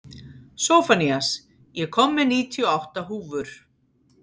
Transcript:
Sophanías, ég kom með níutíu og átta húfur!